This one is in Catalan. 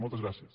moltes gràcies